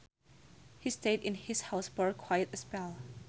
He stayed in his house for quite a spell